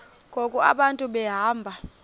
ngoku abantu behamba